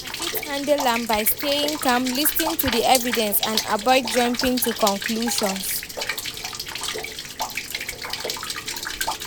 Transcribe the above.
I fit handle am by staying calm, lis ten to di evidence and avoid jumping to conclusions.